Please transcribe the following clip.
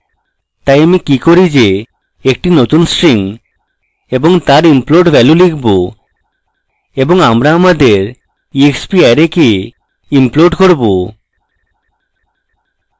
তাই আমি কি করি যে একটি নতুন string এবং তার implode value লিখব এবং আমরা আমাদের exparray কে implode করব